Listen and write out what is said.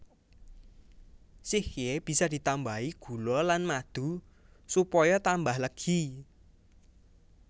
Sikhye bisa ditambahi gula lan madu supaya tambah legi